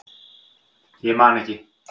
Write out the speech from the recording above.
Ég man ekki